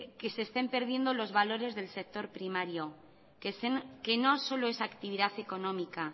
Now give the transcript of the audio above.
que se estén perdiendo los valores del sector primario que no solo es actividad económica